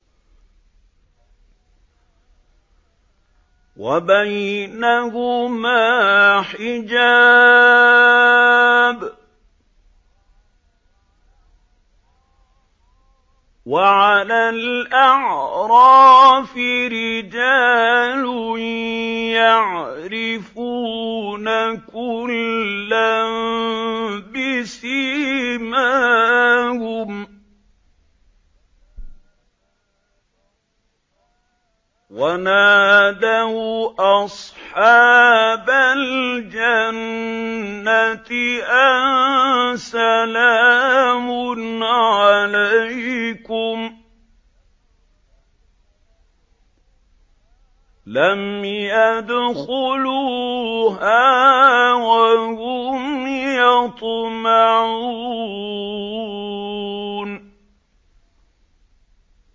وَبَيْنَهُمَا حِجَابٌ ۚ وَعَلَى الْأَعْرَافِ رِجَالٌ يَعْرِفُونَ كُلًّا بِسِيمَاهُمْ ۚ وَنَادَوْا أَصْحَابَ الْجَنَّةِ أَن سَلَامٌ عَلَيْكُمْ ۚ لَمْ يَدْخُلُوهَا وَهُمْ يَطْمَعُونَ